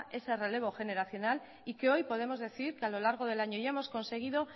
ese relevo generacional y que hoy podemos decir que a lo largo del año ya hemos conseguido